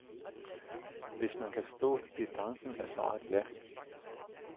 Hvis man kan stå distancen er svaret ja.